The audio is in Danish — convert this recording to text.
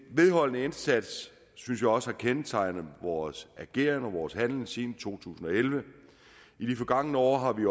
vedholdende indsats synes jeg også har kendetegnet vores ageren og handlen siden to tusind og elleve i det forgangne år har vi